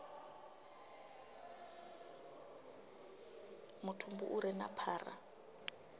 mutumbu u re na phara